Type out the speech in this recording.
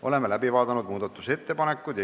Oleme muudatusettepanekud läbi vaadanud.